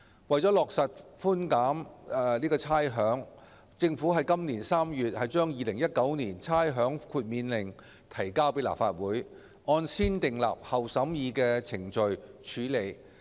為了落實差餉寬減，政府於今年3月把《2019年差餉令》提交立法會，按先訂立後審議的程序處理。